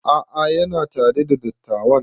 A'a yana tare da dattawan